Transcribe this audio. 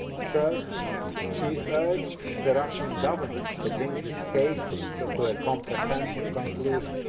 First, he urged the Russian Government to bring the case to a comprehensive conclusion.